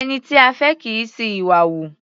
Ẹni tí a fẹ́ kì í ṣi ìwà hù.